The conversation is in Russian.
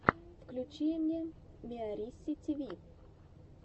включи мне миарисситиви